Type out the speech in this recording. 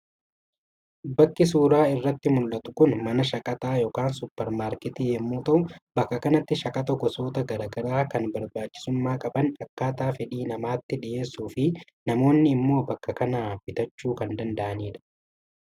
Bakki suuraa irratti muldhatu kun mana shaqaxaa yookaan Suppermaarkeetii yommuu ta'u bakka kanatti shaqaxa gosoota gara garaa kan barbaachisummaa qaban akkaataa fedhii namaatti dhiyeessuu fi namoonni immoo bakka kanaa bitachuu kan danda’anidha.